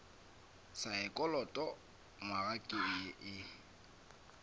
saekholot nywaga ke ye e